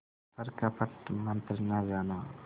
पर कपट मन्त्र न जाना